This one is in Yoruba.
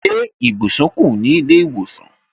Ṣé ibùsùn kù ní ilé ìwòsàn